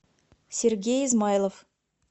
сергей измайлов